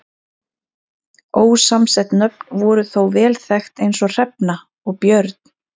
Ósamsett nöfn voru þó vel þekkt eins og Hrefna og Björn.